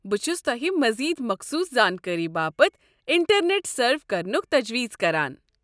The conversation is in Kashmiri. بہٕ چھُس تۄہہِ مزید مخصوص زانكٲری باپت انٹرنیٹ سٔرف كرنک تجویز كران۔